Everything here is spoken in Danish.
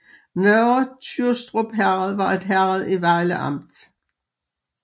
Nørre Tyrstrup Herred var et herred i Vejle Amt